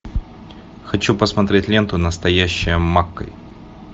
хочу посмотреть ленту настоящая маккэй